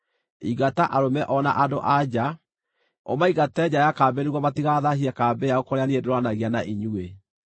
Ingata arũme o na andũ-a-nja; ũmaingate nja ya kambĩ nĩguo matigathaahie kambĩ yao kũrĩa niĩ ndũũranagia na inyuĩ.”